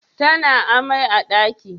Tana amai a daki?